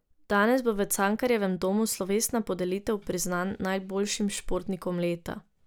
Danes bo v Cankarjevem domu slovesna podelitev priznanj najboljšim športnikom leta.